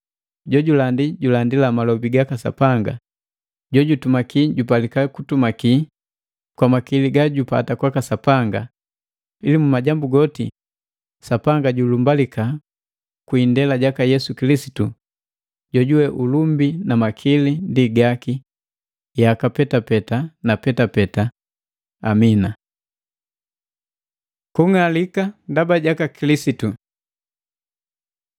Jojulandi julandila malobi gaka Sapanga; jojutumaki jupalika kutumaki kwa makili gajupata kwa Sapanga, ili mu majambu goti, Sapanga julumbalika kwi indela jaka Yesu Kilisitu jojuwe ulumbi na makili ndi gaki yaka petapeta na petapeta! Amina. Kung'alika ndaba jaka Kilisitu